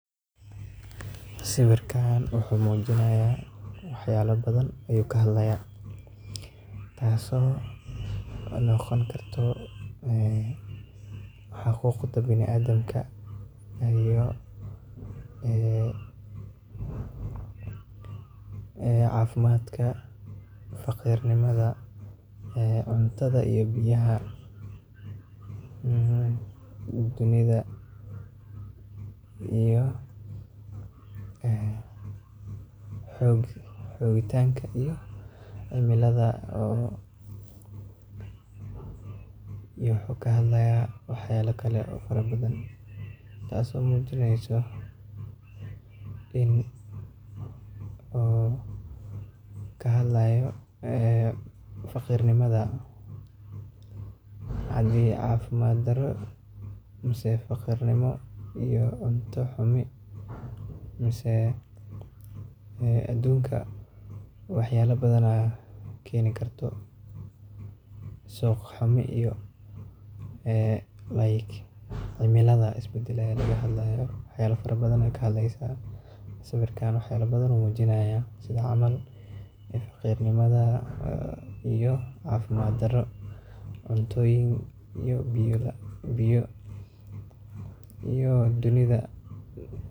sawirkaan wuxuu muujinaaya waxyaalo badan ayuu ka hadlaaaya tasoo noqon karto xaquuqda baniaadamka , caafimaadka , faqriga , cuntada iyo biyaha dunida iyo xoogitaanka iyo cimilada iyo wuxuu ka hadlaaya waxyaalo kale oo fara badan taasoo muujineyso in uu ka hadlaayo faqiirnimada haddii caafimaad darro mise faqriga iyo cunto xumi mise aduunka waxyaalo badana keeni karto suuqxumi iyo like] cimilada is badalaayo laga hadlaayo. sawirkaan waxyaalo badan ayuu muujinaaya sida cml faqriga, cunto yarida iyo biyo yarida